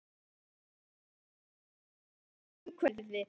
Farðu í stutta kraftgöngu um hverfið þitt.